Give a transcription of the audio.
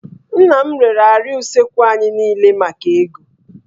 Nna m rere árịà usekwu anyị niile maka ego